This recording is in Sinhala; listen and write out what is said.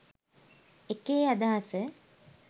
එකේ අදහස